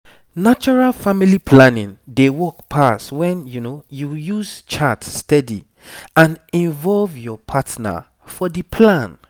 natural family planning dey work pass when you use chart steady and involve your partner for the plan